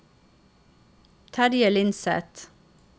Terje Lindseth